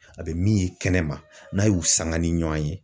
A bɛ min ye kɛnɛma n'a y'u sanga ni ɲɔɔn ye